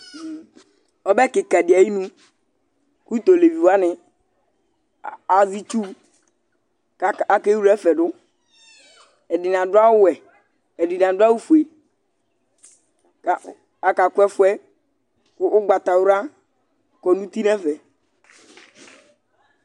Ɔbɛ kɩka dɩ ayinu kʋ tʋ olevi wanɩ azɛ itsu kʋ akewle ɛfɛ dʋ Ɛdɩnɩ adʋ awʋwɛ, ɛdɩnɩ adʋ awʋfue kʋ akakʋ ɛfʋ yɛ kʋ ʋgbatawla kɔ nʋ uti nʋ ɛfɛ